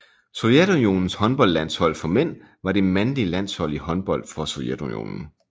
Sovjetunionens håndboldlandshold for mænd var det mandlige landshold i håndbold for Sovjetunionen